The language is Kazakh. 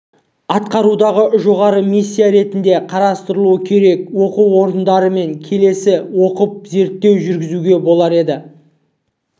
атқарудағы жоғары миссия ретінде қарастырылуы керек оқу орындарымен келісе отырып зерттеу жүргізуге болар еді